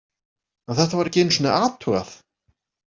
En þetta var ekki einu sinni athugað.